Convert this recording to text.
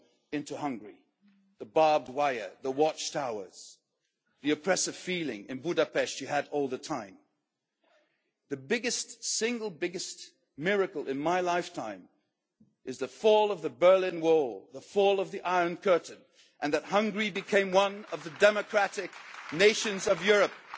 Austria into Hungary the barbed wire, the watchtowers, the oppressive feeling in Budapest that you had all the time. The biggest single miracle in my lifetime is the fall of the Berlin Wall, the fall of the Iron Curtain and that Hungary became one of the democratic nations